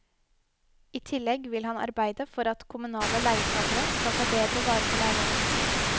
I tillegg vil han arbeide for at kommunale leietagere skal ta bedre vare på leilighetene sine.